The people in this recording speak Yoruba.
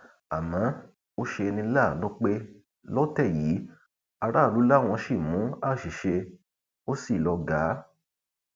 àmọ ó ṣe ní láàánú pé lọtẹ yìí aráàlú làwọn ṣì mú àṣìṣe ó sì lọgàá